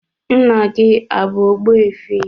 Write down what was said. Nna gị ọ bụ Ogbuefi?